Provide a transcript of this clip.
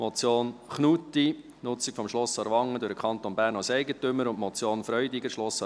Die Motion Knutti, «Nutzung von Schloss Aarwangen durch den Kanton Bern als Eigentümer» und die Motion Freudiger, «Schloss